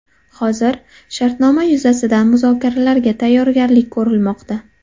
Hozir shartnoma yuzasidan muzokaralarga tayyorgarlik ko‘rilmoqda.